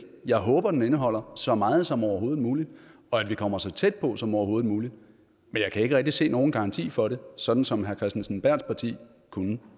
jeg håber den indeholder så meget som overhovedet muligt og at vi kommer så tæt på som overhovedet muligt men jeg kan ikke rigtig se nogen garanti for det sådan som herre kenneth kristensen berths parti kunne